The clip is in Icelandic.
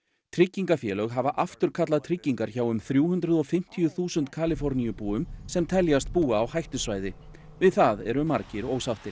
tryggingafélög hafa afturkallað tryggingar hjá um þrjú hundruð og fimmtíu þúsund Kaliforníubúum sem teljast búa á hættusvæði við það eru margir ósáttir